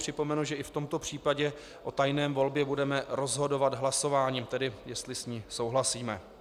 Připomenu, že i v tomto případě o tajné volbě budeme rozhodovat hlasováním, tedy jestli s ní souhlasíme.